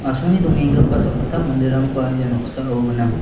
asonge dongenggipa sakgittam manderangba ia noksao gnang.